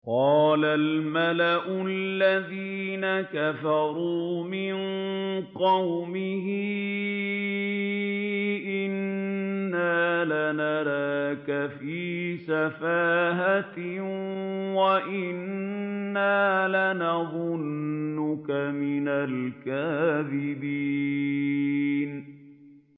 قَالَ الْمَلَأُ الَّذِينَ كَفَرُوا مِن قَوْمِهِ إِنَّا لَنَرَاكَ فِي سَفَاهَةٍ وَإِنَّا لَنَظُنُّكَ مِنَ الْكَاذِبِينَ